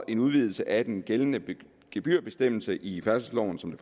en udvidelse af den gældende gebyrbestemmelse i færdselsloven som det